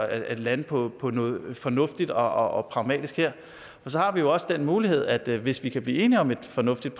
at lande på på noget fornuftigt og pragmatisk her så har vi jo også den mulighed at hvis vi kan blive enige om et fornuftigt